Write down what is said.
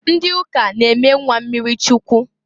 Ndị ụka na eme nnwa mmiri Chukwu.